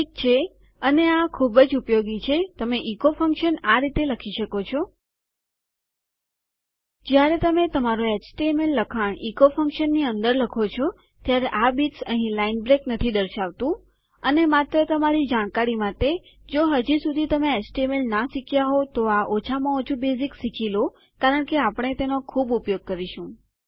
ઠીક છે અને આ ખૂબ જ ઉપયોગી છે તમે ઇકો ફંક્શન આ રીતે લખી શકો છો જયારે તમે તમારું એચટીએમએલ લખાણ ઇકો ફંક્શનની અંદર લખો છો ત્યારે આ બીટ્સ અહીં લાઈન બ્રેક નથી દર્શાવતું અને માત્ર તમારી જાણકારી માટે જો હજુ સુધી તમે એચટીએમએલ ના શીખ્યા હોઉં તો આ ઓછામાં ઓછું બેઝિક્સ શીખી લો કારણ કે આપણે તેનો ખૂબ ઉપયોગ કરીશું